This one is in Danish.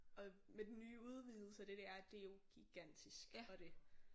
Og med den nye udvidelse og det det er jo gigantisk og det